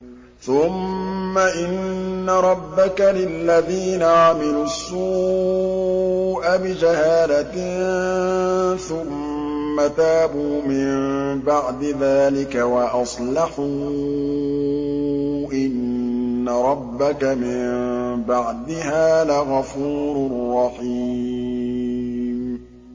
ثُمَّ إِنَّ رَبَّكَ لِلَّذِينَ عَمِلُوا السُّوءَ بِجَهَالَةٍ ثُمَّ تَابُوا مِن بَعْدِ ذَٰلِكَ وَأَصْلَحُوا إِنَّ رَبَّكَ مِن بَعْدِهَا لَغَفُورٌ رَّحِيمٌ